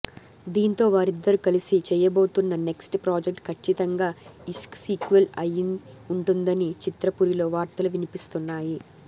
దీంతో వారిద్దరు కలిసి చేయబోతున్న నెక్ట్స్ ప్రాజెక్ట్ ఖచ్చితంగా ఇష్క్ సీక్వెల్ అయి ఉంటుందని చిత్రపురిలో వార్తలు వినిపిస్తున్నాయి